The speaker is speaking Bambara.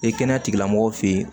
E kɛnɛya tigilamɔgɔw fɛ yen